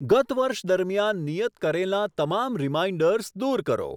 ગત વર્ષ દરમિયાન નિયત કરેલાં તમામ રીમાઈન્ડર્સ દૂર કરો.